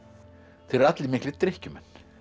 þeir eru allir miklir drykkjumenn